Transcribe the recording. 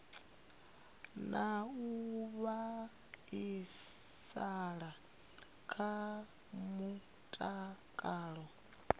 na u vhaisala kha mutakalo